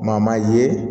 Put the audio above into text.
Maa maa ye